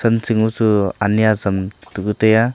thanching hachu ani ajam takuh taiya.